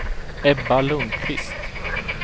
Ebba Lundkvist